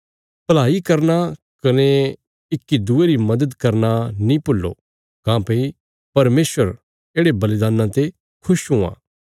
भलाई करना कने इक्की दूये री मदद करना नीं भूल्लो काँह्भई परमेशर येढ़े बलिदान्नां ते खुश हुआं